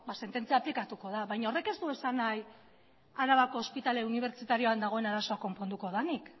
sententzia aplikatuko da baina horrek ez du esan nahi arabako ospitale unibertsitarioan dagoen arazoa konponduko denik